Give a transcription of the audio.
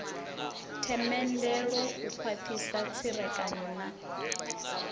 themendelo u khwathisa tserekano na